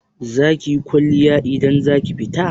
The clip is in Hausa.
Zakiyi kwalliya idan zaki fita?